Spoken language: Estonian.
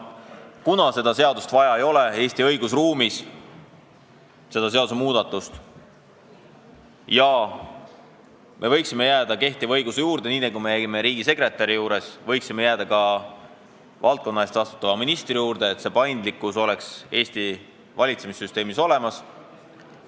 Seda seadust, seda seadusmuudatust ei ole Eesti õigusruumis vaja ja nii nagu me riigisekretäri puhul jäime kehtiva õiguse juurde, võiksime jääda ka valdkonna eest vastutava ministri juurde, et paindlikkus oleks Eesti valitsemissüsteemis olemas.